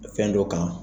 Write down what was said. Fɛn dɔ kan